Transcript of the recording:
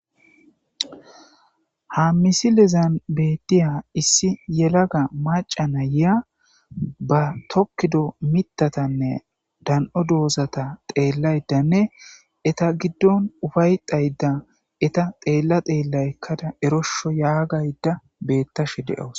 Ha misilezan betay issi yalaga macha na'ay ba tokido mithatane da'an'o dozata xelayidane heta gidon upayetayda heta xela xela erosho yagayda betashe de'awus